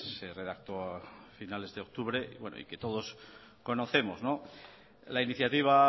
se redactó a finales de octubre y que todos conocemos la iniciativa